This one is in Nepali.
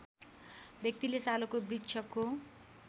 व्यक्तिले सालको वृक्षको